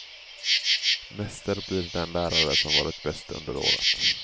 Mäster blir den lärare som varit bäst under året.